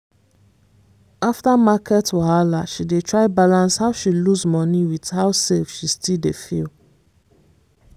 after market wahala she dey try balance how she lose money with how safe she still dey feel.